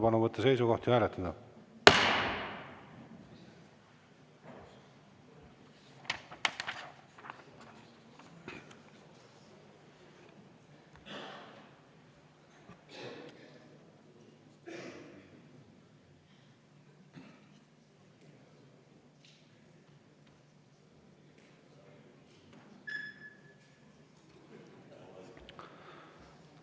Palun võtta seisukoht ja hääletada!